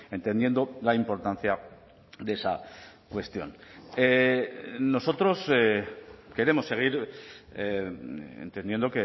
entendiendo la importancia de esa cuestión nosotros queremos seguir entendiendo